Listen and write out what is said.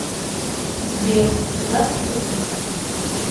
сбер куда все подевались